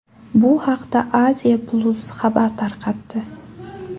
Bu haqda Asia-Plus xabar tarqatdi .